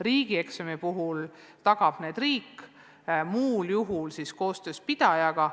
Riigieksami puhul tagab need riik, muul juhul tagatakse need koostöös kooli pidajaga.